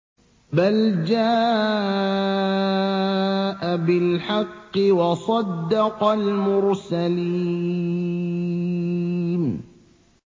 بَلْ جَاءَ بِالْحَقِّ وَصَدَّقَ الْمُرْسَلِينَ